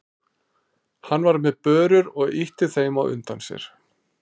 Hann var með börur og ýtti þeim á undan sér.